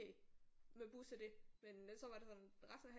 Med bus og det men så var det sådan resten af